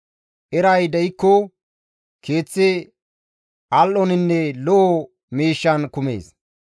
Eray de7ikko, keeththi al7oninne lo7o miishshan kumees.